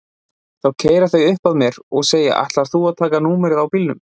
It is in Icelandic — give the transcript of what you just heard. Þá keyra þau uppað mér og segja ætlaðir þú að taka númerið á bílnum?